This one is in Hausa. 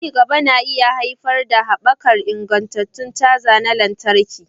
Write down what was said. Ci gaban na iya haifar da haɓakar ingantattun caja na lantarki.